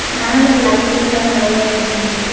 மேல லைட்ஸ் எல்லா நெறைய எரிஞ்சுட்டுக்கு.